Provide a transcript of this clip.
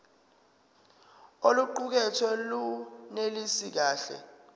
oluqukethwe lunelisi kahle